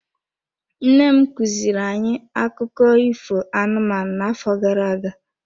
Nne m kuziri anyị akụkọ ifo anụmanụ n'afọ gara aga.